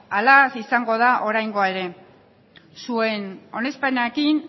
halaz izango da oraingoa ere zuen onespenarekin